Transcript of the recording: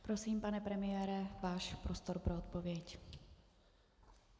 Prosím, pane premiére, váš prostor pro odpověď.